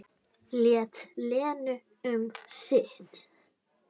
Lét Lenu um sitt.